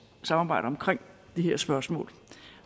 samarbejde omkring det her spørgsmål